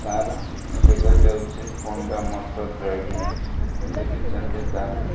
Car ଦେଖା ଯାଉଚି। Panda motor driving ଲେଖିଛନ୍ତି କାର ରେ।